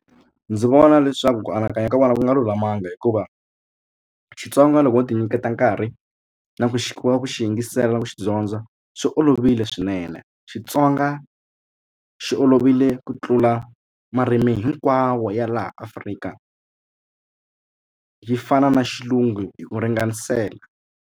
Ndzi vona leswaku ku anakanya ka vona ku nga lulamanga hikuva Xitsonga loko no ti nyiketa nkarhi na ku xiximiwa ku xi yingisela ku xi dyondza swi olovile swinene Xitsonga xi olovile ku tlula marimi hinkwawo ya laha Afrika yi fana na xilungu hi ku ringanisela.